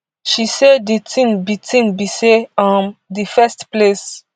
she say di tin be tin be say um di first place